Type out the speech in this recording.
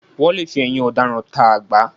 Wọ́n lè fi ẹ̀yìn ọ̀daràn ta àgbá